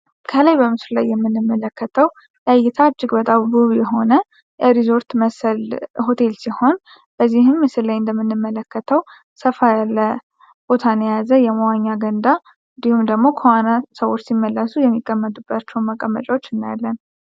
ከላይ በምስሉ ላይ የምንመለከተው ለእይታ እጅግ በጣው ውብ የሆነ የሪዞርት ምስል ሆቴል ሲሆን በዚህም ምስል ላይ እንደምንመለከተው ሰፋ ያለ ቦታን የያዘ የመዋኛ ገንዳ እንዲሁም ደግሞ ከዋና ሰዎች ሲመለሱ የሚቀመጡባቸውን መቀመጫዎች እናያለን።